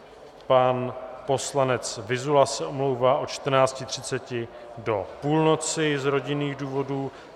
Pan poslanec Vyzula se omlouvá od 14.30 do půlnoci z rodinných důvodů.